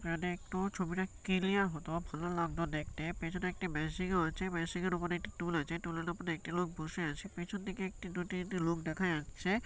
এখানে একটু ছবিটা ক্লিয়ার হতো ভালো লাগতো দেখতে পেছনে একটি মেশিন -ও আছে মেশিন -এর উপরে একটি টুল আছে টুল এর উপরে একটি লোক বসে আছে পেছন দিকে একটি দুটি লোক দেখা যাচ্ছে।